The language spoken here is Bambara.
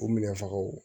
O minɛ fagaw